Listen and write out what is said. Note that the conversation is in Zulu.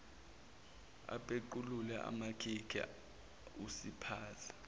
apequlule amakhikhi usiphaza